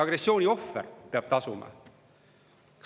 Agressiooni ohver peab tasuma.